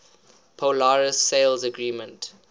polaris sales agreement